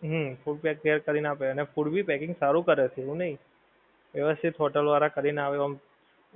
હમ food pack કરી ને આપે છે અને food ભી packing સારું કરે છે એવું નહીં વેવસતીત hotel વાળા કરી ને આવે આમ